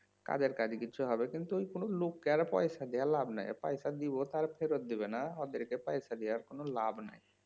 কাজের কাজ কিছু হবে কিন্তু কোনো লোককে আর পয়সা দিয়ে লাভ নাই পয়সা দিব আর ফেরত দিবেনা ওদেরকে পয়সা দিয়ে আর কোনো লাভ নাই